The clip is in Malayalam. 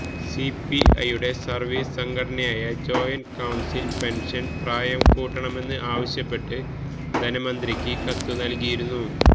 സിപിഐയുടെ സർവീസ് സംഘടനയായ ജോയിന്റ് കൌൺസിൽ പെൻഷൻ പ്രായം കൂട്ടണമെന്ന് ആവശ്യപ്പെട്ട് ധനമന്ത്രിക്ക് കത്ത് നൽകിയിരുന്നു